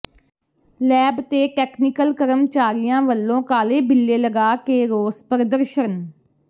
lab ਤੇ technical ਕਰਮਚਾਰੀਆਂ ਵਲੋਂ ਕਾਲੇ ਬਿੱਲੇ ਲਗਾ ਕੇ ਰੋਸ ਪ੍ਰਦਰਸ਼ਨ